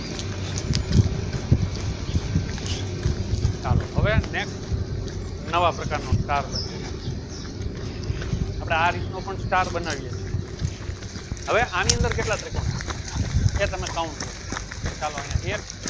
ચાલો હવે next નવા પ્રકારનો star બનાવ્યો આપણે આ રીતનો પણ star બનાવીએ છીએ હવે આની અંદર કેટલા ત્રિકોણ? એ તમે count કરો ચાલો અયિયા એક